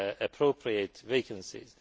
appropriate vacancies.